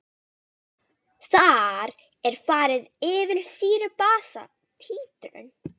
Þar er farið yfir sýru-basa títrun.